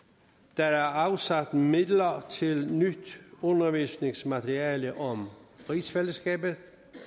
der er afsat midler til nyt undervisningsmateriale om rigsfællesskabet